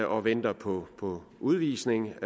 og venter på på udvisning